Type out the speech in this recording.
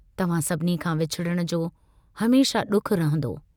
तव्हां सभिनी खां विछुड़ण जो हमेशह डुखु रहंदो।